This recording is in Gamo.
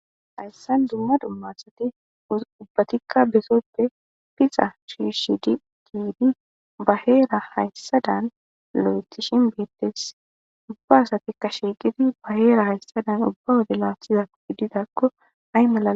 Hayssan dumma dumma asati ubbatikka besoppe pixa shiishidi kiidi baheera hayssadan lo7etishin beettes ubba asatikka shiiqidi ba heera hayssadan ubba wode laatshizao ididakko hay malal.